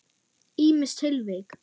Ýmis tilvik.